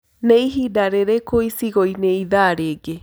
niĩhĩnda rĩrĩkũ icigoini ĩthaa rĩngĩ